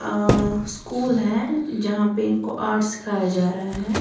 अ school है जहां पे इनको आर्ट सिखाया जा रहा है।